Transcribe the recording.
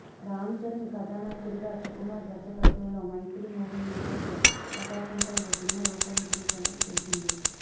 రామ్చరణ్ కథానాయకుడిగా సుకుమార్ దర్శకత్వంలో Mythri Movie Makers పతాకంపై ఓ సినిమా రూపొందుతున్న సంగతి తెలిసిందే